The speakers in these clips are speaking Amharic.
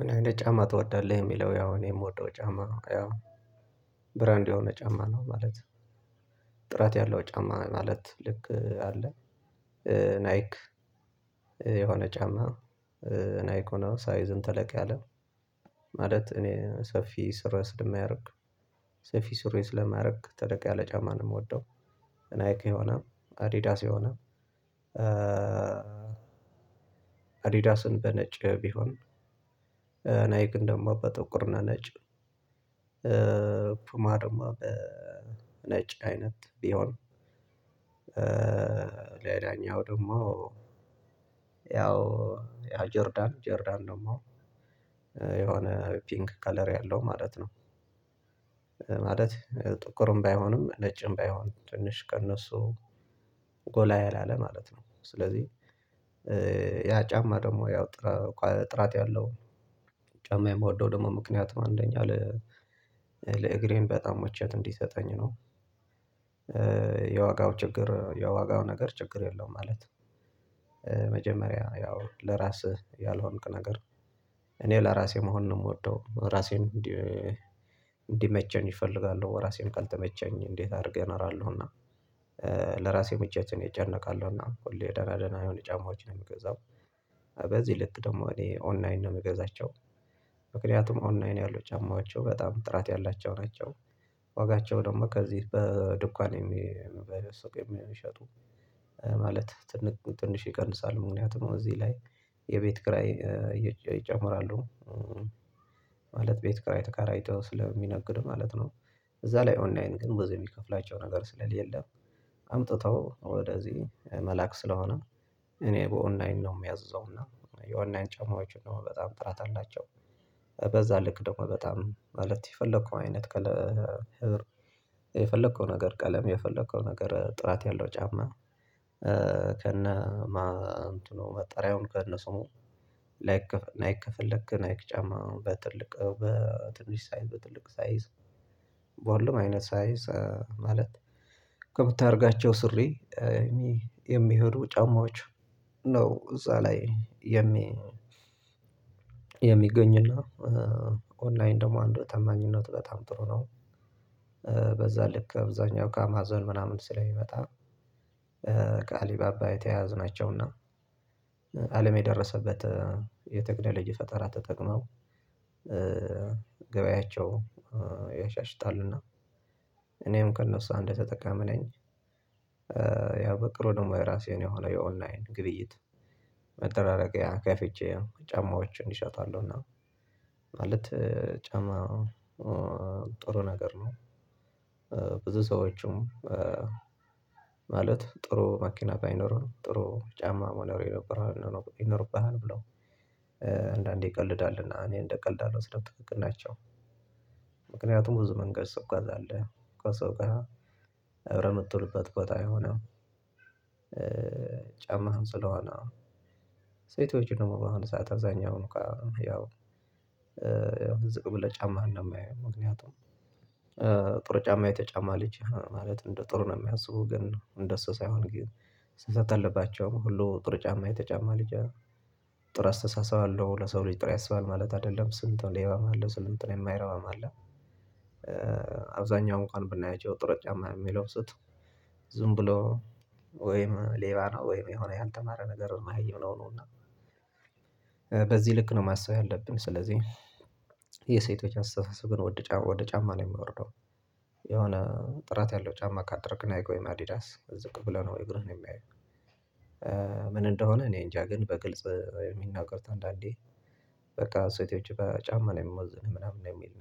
ምን አይነት ጫማ ትወዳለህ? የሚለው ያው እኔ የምወደው ጫማ ነው ያው ብራንድ የሆነ ጫማ ነው ማለት ጥራት ያለው ጫማ ማለት ልክ አለ። ናይክ የሆነ ጫማ ናይኮና ሳይዝን ተለቅ ያለ ማለት እኔ ሰፊ ስር ስር የማያደርግ ሰፊ ስር ስለማያደርግ ተደቂያ ለጫማ ነው የምወደው። እናይኪ የሆነ አዲዳስ የሆነ አዲዳስን በነጭ ቢሆን ናይክ ደሞ በጥቁርና ነጭ ማርማ ነጭ አይነት ቢሆን ሌላኛው ደግሞ ያው ያው ጆርዳን ጆርዳን ነው ደሞ የሆነ ፒንክ ከለር ያለው ማለት ነው። ማለት ጥቁርም ባይሆንም ለጭም ባይሆንም ትንሽ ከእነሱ ጎላ ያላለ ማለት ነው። ስለዚህ ያ ጫማ ደግሞ ያው ጥራት ያለው ጫማ የምወደው ደግሞ ምክንያት ነው አንደኛ ለእግሬን በጣም መቼት እንዲሰጠኝ ነው። የዋጋው ችግር የዋጋው ነገር ችግር የለውም ማለት ነው። መጀመሪያ ያው ለራስህ ያልሆንክ ነገር እኔው ለራሴ መሆን ነው የምወደው ራሴን እንዲመቸኝ እፈልጋለሁ ራሴን ሳልተመቸኝ እንዴት አድርገህ እነራለሁና ለራሴ ምቻትን ይጨነቃሉና ሁሉ የደህና ደህና የሆነ ጫማዎችን ነው የምገዛው። በዚህ ልት ደግሞ እኔ ኦንላይን ነው የምገዛቸው ምክንያቱም ኦንላይን ያሉ ጫማቸው በጣም ጥራት ያላቸው ናቸው። ዋጋቸው ደግሞ ከዚህ በድኳን የሚሸጡ ማለት ትንሽ ይቀንሳሉ ምክንያቱም እዚህ ላይ የቤት ክራይ ይጨምራሉ ማለት ቤት ክራይ ተከራይቶ ስለሚነግድ ማለት ነው። እዛ ላይ ኦንላይን ግን በዚህ የሚከፍላቸው ነገር ስለሌለ አምጥተው ወደዚህ መላክ ስለሆነ እኔ በኦንላይን ነው የሚያዝዘውና የኦንላይን ጫማዎች እንደውም በጣም ጥራት አላቸው። በዛ ልክ ደግሞ በጣም ማለት የፈለከው አይነት የፈለከው ነገር ቀለም የፈለከው ነገር ጥራት ያለው ጫማ። ከነ መጠሪያውን ከነሱ ላይክ አይከፈለክ ናይክ ጫማ በትልቅ በትንሽ ሳይዝ በትልቅ ሳይዝ በኋላም አይነት ሳይዝ ማለት ከምታደርጋቸው ሱሪ የሚሄዱ ጫማዎች ነው እዛ ላይ የሚ የሚገኝ ኦንላይን ደግሞ አንድ ተማኝነት በጣም ጥሩ ነው። በዛ ልክ አብዛኛው ከአማዞን ምናምን ስለሚመጣ ከአሊባባ የተያያዝናቸውና አለምየደረሰበት የተክኖል ልጅ ፈጠራ ተጠቅመው ገበያቸው ያሻሽጣሉና እኔም ከእነርሱ አንድ ተጠቃሚ ነኝ። ያው በቅርብ ደግሞ ራሴን የሆነ የኦንላይን ግብይት መጠራጠሪያ ከፍቼ ጫማዎችን ይሸጣሉ እና እና ማለት ጫማ ጥሩ ነገር ነው። ብዙ ሰዎችም ማለት ጥሩ መኪና ባይኖሩን ጥሩ ጫማ መኖር ይኖርብሃል ብለው አንዳንዴ ይቀልዳልና እኔ እንደቀልዳለሁ ትክክል ናቸው። ብዙ መንገድ ሰው ጋር አለ ከሰው ጋር እብረ የምትሉበት ቦታ የሆነው ጫማ ስለሆነ ሴቶች ደግሞ በአሁኑ ሰዓት አብዛኛው ነው ያው ያው ዝቅ ብለህ ጫማ እንደማየው ምክንያቱም ጥሩ ጫማ የተጫማ ልጅ ማለት እንደ ጥሩ ነው የሚያስቡ ግን እንደሱ ሳይሆን ግን ስትተልባቸው ሁሉ ጥር ጫማ የተጫማ ልጅ ነው። ጥር አስተሳሰብ አለው ለሰው ልጅ ጥር ያስባል ማለት አይደለም ስንትን ሌባም አለው ስልንትን የማይረባም አለ። አብዛኛውን ቀን ብናያቸው ጥሩ ጫማ የሚለው ስጡ ዝም ብሎ ወይም ሌባ ነው ወይም የሆነ ያልተማረ ነገር አየው ነው እና። በዚህ ልክ ነው ማሰብ ያለብን ስለዚህ የሴቶች አስተሳሰብ ግን ወደ ጫማ ነው የምወርደው። የሆነ ጥራት ያለው ጫማ ካደረግን አይገው ወይ አዲዳስ ዝቅ ብለው ነው ወይ እግርህ ነው የሚያየው? ምን እንደሆነ እኔ እንጃ ግን በግልጽ የሚናገር አንዳንዴ በቃ ሴቶች በጫማ ነው የምሞዝንህ ምናምን ነው የሚል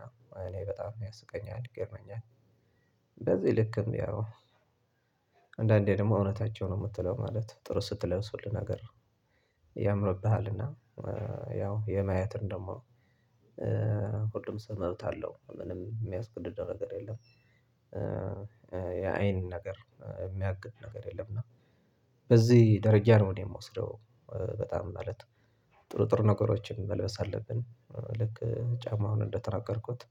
እኔ በጣም ያስቀኛል ይገርመኛል። በዚህ ልክ እንዴ ያው አንዳንዴ ደግሞ እውነታቸው ነው የምትለው ማለት ጥሩ ስትለሱልን ነገር ያምርብሃልና ያው የማያትህን ደግሞ ሁሉም ሰው መብት አለው ምንም የሚያስገድደው ነገር የለም። የአይን ነገር የሚያግድ ነገር የለም እና በዚህ ደረጃ ነው እኔ የምወስደው። በጣም ማለት ጥሩ ጥሩ ነገሮችን መልበስ አለብን። ልክ ጫማውን እንደተናገርኩት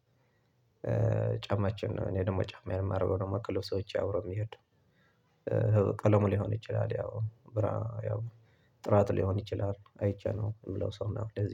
ጫማችን ነው እኔ ደግሞ ጫማ የማደርገው ነው የማቅለው ሰዎች ያውረው የሚሄዱ። ቀለሙ ሊሆን ይችላል ያው ብራ ያው ጥራት ሊሆን ይችላል አይቼ ነው የምለው ሰው ነው። ለዚህ